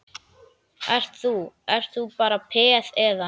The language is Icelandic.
Ert þú, ert þú bara peð, eða?